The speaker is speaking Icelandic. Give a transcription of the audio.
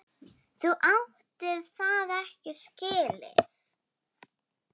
Þú áttir það ekki skilið.